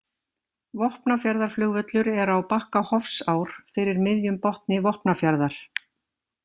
Vopnafjarðarflugvöllur er á bakka Hofsár, fyrir miðjum botni Vopnafjarðar.